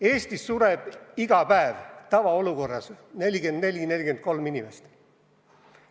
Eestis sureb iga päev tavaolukorras 43–44 inimest.